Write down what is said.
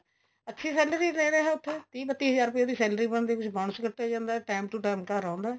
ਅੱਛੀ salary ਦੇ ਰਹੇ ਉੱਥੇ ਤਿਹ ਬੱਤੀ ਹਜਾਰ ਰੁਪਇਆ ਉਹਦੀ salary ਬਣਦੀ ਪਈ bonus ਕਟਿਆ ਜਾਂਦਾ time to time ਘਰ ਆਉਂਦਾ